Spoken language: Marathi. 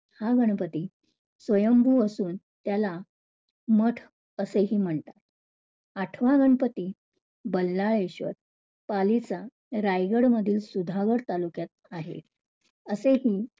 हा गणपती स्वयंभू असून त्याला मठ असेही म्हणतात. आठवा गणपती बल्लाळेश्वर पालीचा रायगडमधील सुधागढ तालुक्यात आहे. असेही